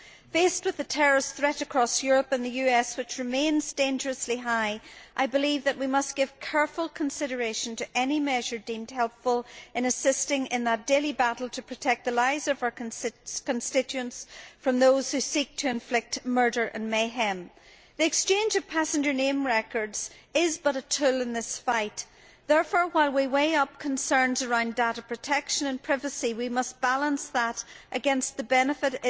Faced with the terrorist threat across Europe and the US, which remains dangerously high, I believe that we must give careful consideration to any measure deemed helpful in assisting in that daily battle to protect the lives of our constituents from those who seek to inflict murder and mayhem. The exchange of passenger name records is but a tool in this fight. Therefore, while we weigh up concerns around data protection and privacy, we must balance that against the benefit